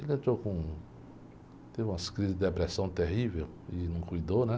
Ele entrou com... Teve umas crises de depressão terrível e não cuidou, né?